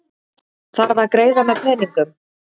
Þarf að greiða með peningum